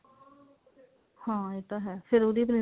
ਹਾਂ ਇਹ ਤਾਂ ਹੈ ਫੇਰ ਉਹਦੀ princess